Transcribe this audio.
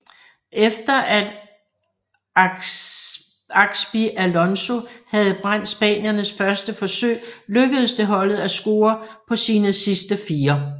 Efter at Xabi Alonso havde brændt spaniernes første forsøg lykkedes det holdet at score på sine sidste fire